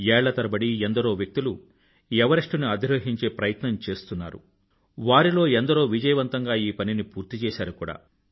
ఏళ్లతరబడి ఎందరో వ్యక్తులు ఎవరెస్టుని అధిరోహించే ప్రయత్నం చేస్తున్నారు వారిలో ఎందరో విజయవంతంగా ఈ పనిని పూర్తిచేసారు కూడా